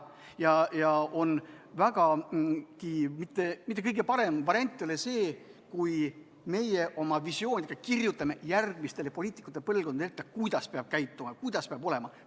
See ei ole kõige parem variant, kui meie oma visioonidega kirjutame järgmistele poliitikute põlvkondadele ette, kuidas peab käituma, kuidas peab olema.